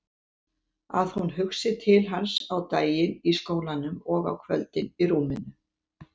Að hún hugsaði til hans á daginn í skólanum og á kvöldin í rúminu.